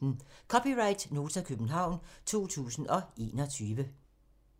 (c) Nota, København 2021